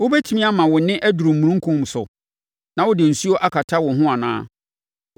“Wobɛtumi ama wo nne aduru omununkum so na wode nsuo akata wo ho anaa?